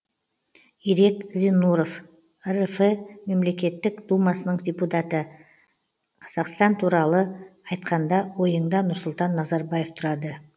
ирек зиннуров рф мемлекеттік думасының депутаты қазақстан туралы айтқанда ойыңда нұрсұлтан назарбаев тұрады